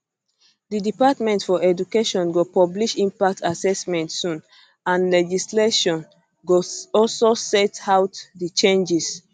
di department for education go publish impact assessment soon and legislation go also set out di changes